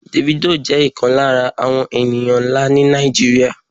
Davido jẹ́ ìkan lára àwọn ènìyàn nlâ ni Nàìjíríà